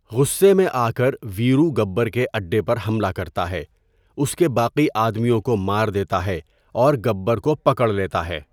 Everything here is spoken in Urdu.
غصے میں آکر، ویرو گبر کے اڈے پر حملہ کرتا ہے، اس کے باقی آدمیوں کو مار دیتا ہے، اور گبر کو پکڑ لیتا ہے۔